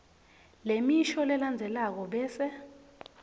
lemisho lelandzelako bese